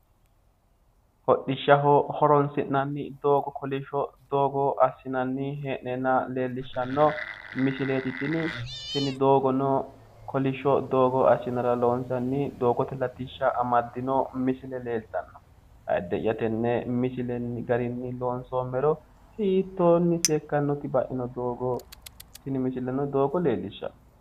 Hodhishshaho horoonsi'nanni doogo kolishsho doogo assinanni hee'neenna leellishshanno misileeti tini. Tini doogono kolishsho doogo assinara loonsanni latishsha amaddino misile leellishshanno ayiidde'ya tenne misile garinni loonsoommero hiittoonni biiffannoti baino te doogo. Tini misileno doogo leellishshanno.